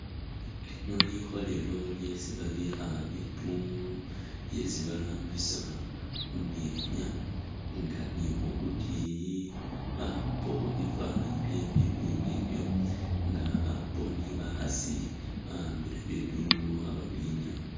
Lino likholelo lyesi babikha bidungu byesi barambisa mumyenya nga ni khukutiyi bakhupakho bifananyi bye bidungu ebyo nga bakhupakho ni bakhasi ba'ambile bidungu khababinyaya